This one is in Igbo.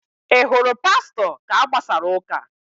Ị hụrụ Pastọ ka a gbasara ụ́kà?